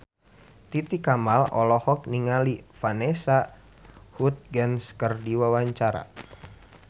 Titi Kamal olohok ningali Vanessa Hudgens keur diwawancara